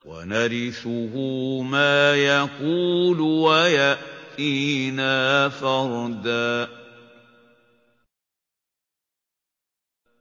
وَنَرِثُهُ مَا يَقُولُ وَيَأْتِينَا فَرْدًا